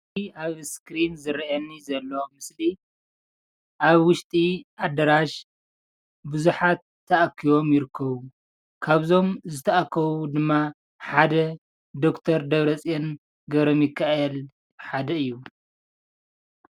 ኣብዚ እስክሪን ዝረአየኒ ዘሎ ምስሊ ኣብ ውሽጢ ኣዳራሽ ብዙሓት ተኣኪቦም ይርከቡ፣ ካብዞም ዝተኣከቡ ድማ ሓደ ዶክተር ዳብረፅዮን ገብረሚካኤል ሓደ እዩ፡፡